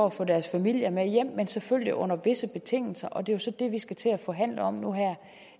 at få deres familier med hjem men selvfølgelig under visse betingelser og det er jo så det vi skal til at forhandle om nu her